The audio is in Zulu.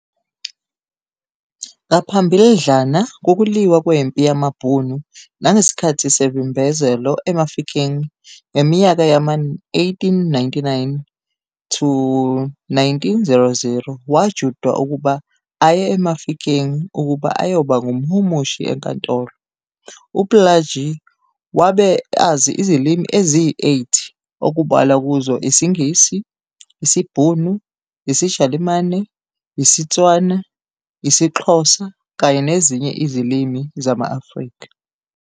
Ngaphambildlana kokuliwa kwempi yamaBhunu nangesikhathi semvimbezelo eMafikeng ngeminyaka yama-1899-1900 wajutshwa ukuba aye eMafikeng ukuba ayoba ngumhumushi enkantolo. UPlaajie wabe azi izilimi eziyi-8 okubalwa kuzo isiNgisi, isiBhunu, isiJalimane, isiTswana, isiXhosa kanye nezinye izilimi zama-Afrika.